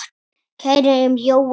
Kæri Jói minn!